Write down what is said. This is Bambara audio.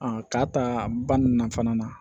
k'a ta ba ninnu na fana